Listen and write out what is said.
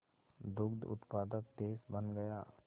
दुग्ध उत्पादक देश बन गया